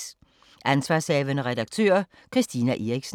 Ansv. redaktør: Christina Eriksen